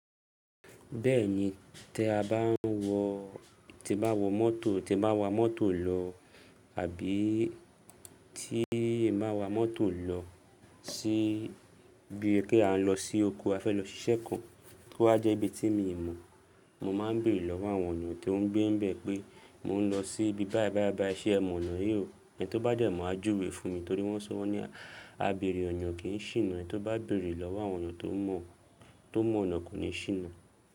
Bẹ́ẹ̀ni, tí a bá ń wọ, tí n bá wọ mọ́tò, tí ẹ bá wa mọ́tò lọ àbí tí n bá wa mọ́tò lọ ti bíi pé a ń lọ sí oko, a fẹ́ lọ ṣiṣẹ́ kan, kó wa jẹ́ ibi tí mi ò mọ̀, mo máa ń bèrè lọ́wọ́ àwọn ènìyàn tí ó ń gbé níbẹ̀ pé mo ń lọ sí ibi báì báì báì, ṣe ẹ mọ̀ ọ̀nà yìí o? Ẹni tí ó bá dẹ mọ̀ á júwe fún mi torí wọ́n sọ won ni a béèrè ọna kì í ṣìnà, ẹni tí o bá bèrè lọ́wọ́ àwọn ènìyàn tó mọ̀, tó mọ̀ ọ̀nà kò ní ṣìnà.